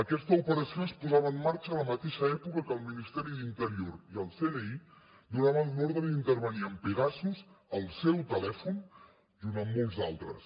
aquesta operació es posava en marxa a la mateixa època que el ministeri d’interior i el cni donaven l’ordre d’intervenir amb pegasus el seu telèfon junt amb molts d’altres